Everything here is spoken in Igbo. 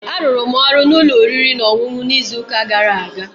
Arụrụ m ọrụ n'ụlọ oriri na ọṅụṅụ n'izuụka gara aga